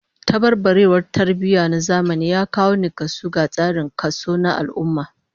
Tabarbarewar tarbiyya na zamani ya kawo nakasu ga tsarin kaso na al'ummah